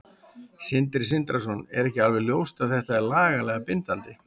Sindri Sindrason: Er ekki alveg ljóst að þetta er lagalega bindandi?